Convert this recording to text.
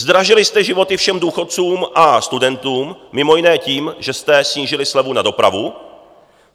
Zdražili jste životy všem důchodcům a studentům mimo jiné tím, že jste snížili slevu na dopravu.